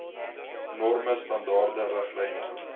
norme standaarde riglyne